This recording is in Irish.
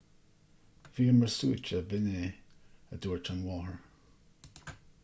bhíomar suaite b'in é a dúirt an mháthair